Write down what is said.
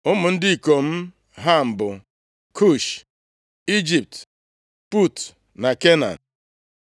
Ụmụ ndị ikom Ham bụ: Kush, Ijipt, Put na Kenan.